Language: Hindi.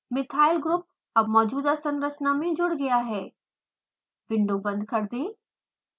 मिथायल ग्रुप अब मौजूदा संरचना में जुड़ गया है